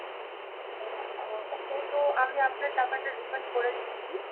আ~ এইতো আমি আপনার টাকাটা refund করে দিচ্ছি